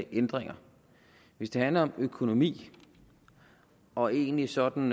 ændringer hvis det handler om økonomi og egentlig sådan